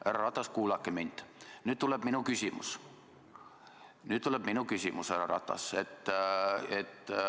Härra Ratas, kuulake mind, nüüd tuleb minu küsimus.